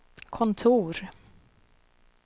kontor